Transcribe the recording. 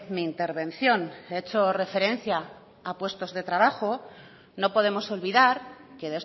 mi intervención he hecho referencia a puestos de trabajo no podemos olvidar que